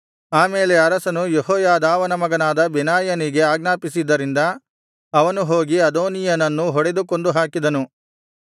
ಆಮೇಲೆ ಅರಸನು ಯೆಹೋಯಾದಾವನ ಮಗನಾದ ಬೆನಾಯನಿಗೆ ಆಜ್ಞಾಪಿಸಿದ್ದರಿಂದ ಅವನು ಹೋಗಿ ಅದೋನೀಯನನ್ನು ಹೊಡೆದು ಕೊಂದುಹಾಕಿದನು